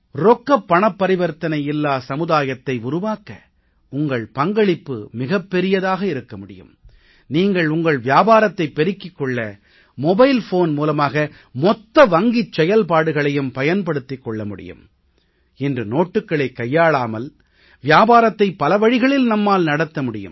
ரொக்கப் பணப்பரிவர்த்தனை இல்லா சமுதாயத்தை உருவாக்க உங்கள் பங்களிப்பு மிகப் பெரியதாக இருக்க முடியும் நீங்கள் உங்கள் வியாபாரத்தைப் பெருக்கிக் கொள்ள மொபைல்போன் மூலமாக மொத்த வங்கிச் செயல்பாடுகளையும் பயன்படுத்திக் கொள்ள முடியும் இன்று நோட்டுக்களை கையாளாமல் வியாபாரத்தை பல வழிகளில் நம்மால் நடத்த முடியும்